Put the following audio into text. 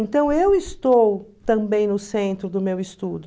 Então eu estou também no centro do meu estudo.